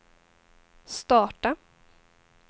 starta